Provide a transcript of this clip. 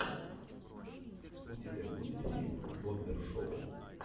у тебя будет фильм бомбер шоу